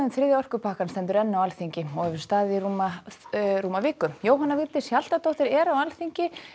þriðja orkupakkann stendur enn á Alþingi og hefur staðið í rúma rúma viku Jóhanna Vigdís Hjaltadóttir er á Alþingi